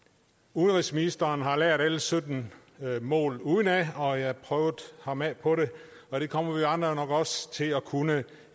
udenrigsministeren har lært alle sytten mål udenad når jeg har prøvet ham af og det kommer vi andre nok også til at kunne